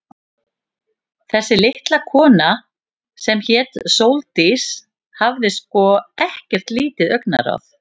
Þessi litla kona, sem hét Sóldís, hafði sko ekkert lítið augnaráð.